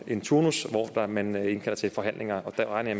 en turnus hvor man indkalder til forhandlinger og det regner